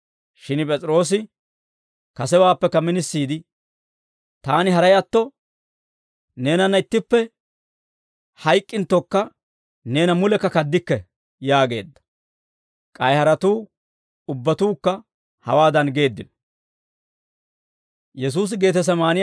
Shin P'es'iroosi kasewaappekka minisiide, «Taani haray atto, neenanna ittippe hayk'k'inttokka, neena mulekka kaddikke» yaageedda. K'ay haratuu ubbatuukka hewaadan geeddino.